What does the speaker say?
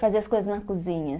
Fazia as coisas na cozinha.